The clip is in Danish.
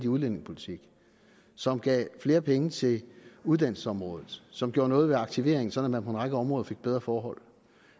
udlændingepolitik som giver flere penge til uddannelsesområdet som gør noget ved aktiveringen så man på en række områder har fået bedre forhold